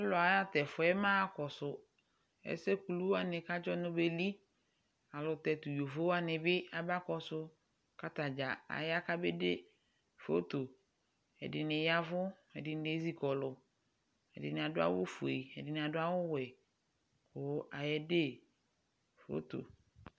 Alʋ aɣa t'ɛfʋɛ maɣa kɔsʋ ɛsɛ kulu wanɩ k'adzɔ beli Ayɛlʋtɛ tʋ yovo wanɩ bɩ aba kɔsʋ , k'atadza aya k'abede foto Ɛdɩnɩ yavʋ, ɛdɩnɩ ezikɔlʋ, ɛdɩnɩ adʋ awʋfue ɛdɩnɩ adʋ awʋwɛ, kʋ ayede foto